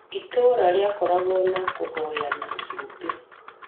Itũũra rĩakoragwo na kũhoyana cumbĩ